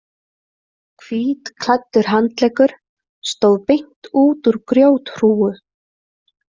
Hvítklæddur handleggur stóð beint út úr grjóthrúgu.